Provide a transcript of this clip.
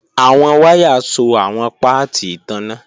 Awọn waya so awọn paati itanna.